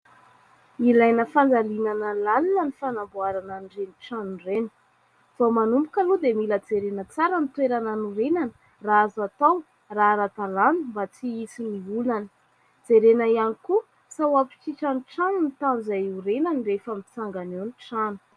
Ilaina fandalinana lalina ny fanamboarana an'ireny trano ireny. Vao manomboka aloha dia mila jerena tsara ny toerana hanorenana, raha azo atao, raha ara-dalàna, mba tsy hisian'ny olana. Jerena ihany koa sao hampitriatra ny trano ny tany izay iorenany rehefa mitsangana eo ny trano.